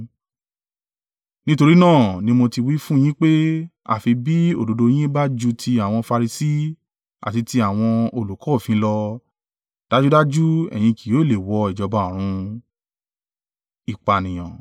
Nítorí náà ni mo ti wí fún yín pé àfi bí òdodo yín bá ju ti àwọn Farisi àti ti àwọn olùkọ́ òfin lọ, dájúdájú ẹ̀yin kì yóò le wọ ìjọba ọ̀run.